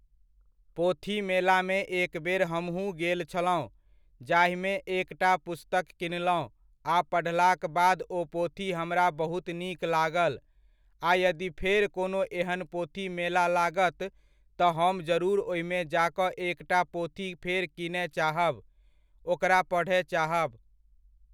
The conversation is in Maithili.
पोथी मेलामे एक बेर हमहुँ गेल छलहुँ जाहिमे एकटा पुस्तक किनलहुँ आ पढ़लाक बाद ओ पोथी हमरा बहुत नीक लागल आ यदि फेर कोनो एहन पोथी मेला लागत तऽ हम जरूर ओहिमे जा कऽ एकटा पोथी फेर कीनय चाहब, ओकरा पढ़य चाहब।